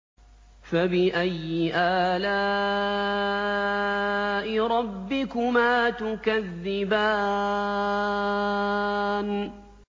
فَبِأَيِّ آلَاءِ رَبِّكُمَا تُكَذِّبَانِ